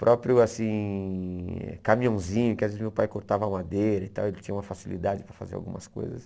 Próprio, assim, caminhãozinho, que às vezes meu pai cortava madeira e tal, ele tinha uma facilidade para fazer algumas coisas.